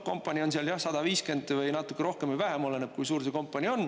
Kompanii on seal 150 või natuke rohkem või vähem, oleneb, kui suur see kompanii on.